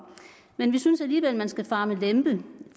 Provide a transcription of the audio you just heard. men vi synes alligevel man skal fare med lempe